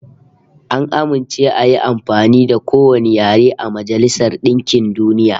An amince ayi amfani da kowane yare a Majailsar DInkin DUniya